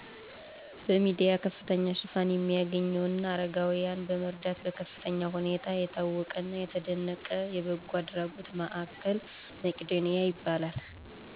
በሚዲያ ከፍተኛ ሽፋን የሚያገኝው እና አረጋዊያንን በመርዳት በከፍተኛ ሁኔታ የታወቀና የተደነቀ የበጎ አድራጎት ማዕከል መቂዶኒያ ይባላል።